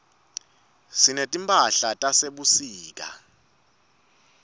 sinetimphahlatase sebusika